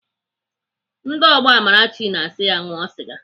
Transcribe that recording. Ndị ọgbọ Amarachi na-asị ya ṅụọ sịga